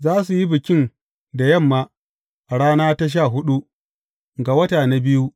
Za su yi bikin da yamma, a rana ta sha huɗu ga wata na biyu.